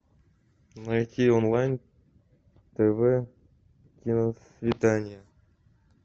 найти онлайн тв киносвидание